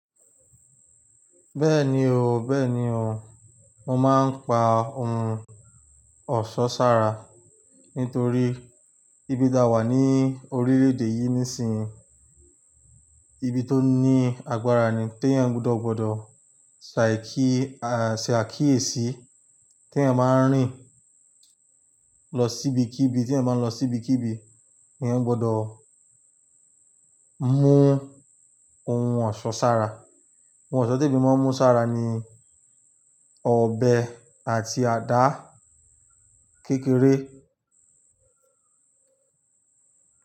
Bẹ́ẹ̀ni o, bẹ́ẹ̀ni o, mo máa ń pa ohun ọ̀ṣọ́ sára nítorí ibi tá wà ní orílẹ̀ èdè yìí nísinyìí, ibi tó ní agbára ni. Tí èyàn gbudọ̀ bodo ṣàákíyèsí, ti èèyàn bá ń rìn lọ síbi kí ibi, tí èyàn bá ń lọ síbi kí ibi, èyàn gbọdọ̀ mú ohun ọ̀ṣọ́ sára. Ohun ọ̀ṣọ́ tè mi máa ń mú sára ni ọbẹ̀ àti àdá kékeré.